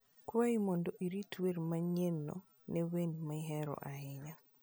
Kwayi mondo irit wer manyienno ne wende mihero ahinya